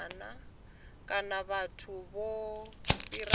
kana vhathu vho fhiraho mpimo